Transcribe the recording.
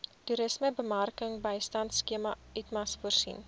toerismebemarkingbystandskema itmas voorsien